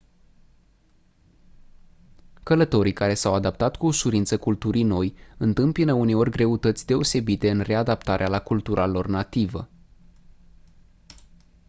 călătorii care s-au adaptat cu ușurință culturii noi întâmpină uneori greutăți deosebite în readaptarea la cultura lor nativă